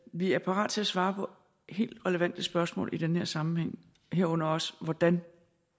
vi er parat til at svare på helt relevante spørgsmål i den her sammenhæng herunder også hvordan